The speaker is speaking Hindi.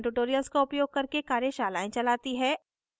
spoken tutorials का उपयोग करके कार्यशालाएं चलाती है